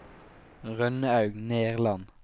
Rønnaug Nerland